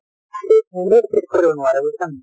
কোনেও ঠিক কৰিব নোৱাৰে বুজিছানে নাই